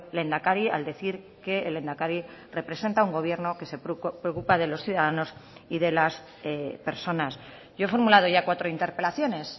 lehendakari al decir que el lehendakari representa a un gobierno que se preocupa de los ciudadanos y de las personas yo he formulado ya cuatro interpelaciones